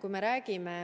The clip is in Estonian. Kui me räägime